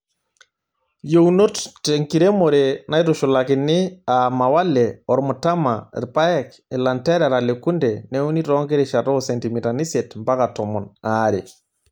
Yieunot tenkiremore naitushulakini aa mawale, ormtama, rpaek, ilanterera le kunde neuni too nkirishat oo sentimitani isiet mpaka tomon aare.